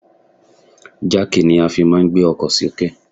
Jáàkì ni a fi máà ń gbé ọkọ sì òkè.